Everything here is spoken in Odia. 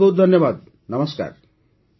ବହୁତ ବହୁତ ଧନ୍ୟବାଦ ନମସ୍କାର